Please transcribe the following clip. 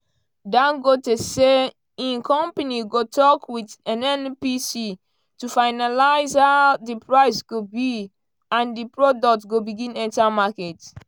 dangote say im company go tok wit nnpc to finalise how di price go be and di product go begin enta market.